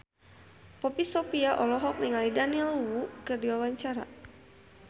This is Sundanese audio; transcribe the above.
Poppy Sovia olohok ningali Daniel Wu keur diwawancara